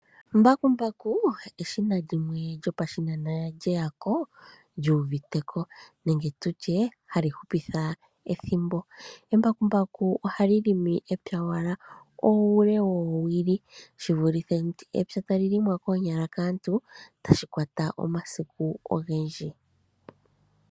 Mbakumbaku eshina lyopashinanena lyeyako lyuuviteko nenge tutye ohali hupitha ethimbo. Embakumbaku ohali pulula uule woowili shivulithe epya tali helelwa koonyala kaantu shono shili tashi kwata omasiku gwontumba.